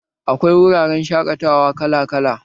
Akwai wuraren shaƙatawa kala kala